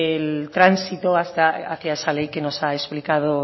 el transito hasta hacia esa ley que nos ha explicado